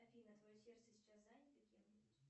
афина твое сердце сейчас занято кем нибудь